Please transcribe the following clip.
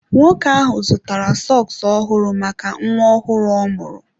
Nwoke ahụ zụtara sọks ọhụrụ maka nwa ọhụrụ ọ mụrụ.